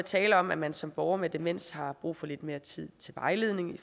tale om at man som borger med demens har brug for lidt mere tid til vejledning i